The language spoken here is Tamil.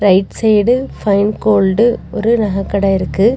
ரைட் சைடு ஃபைன் கோல்டு ஒரு நக கட இருக்கு.